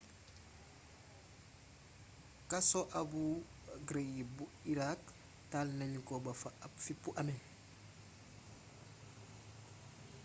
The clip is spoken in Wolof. kaso abu ghraib bu iraq taal nanu ko ba fa ab fippu amee